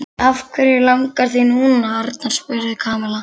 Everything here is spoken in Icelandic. Af hverju langar þig núna, Arnar? spurði Kamilla.